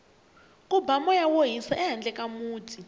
ku ba moya wo hisa ehandle ka muti